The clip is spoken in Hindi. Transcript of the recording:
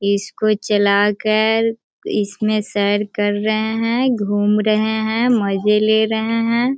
इसको चलाकर इसमें सैर कर रहें हैं घूम रहें हैं मजे ले रहें हैं।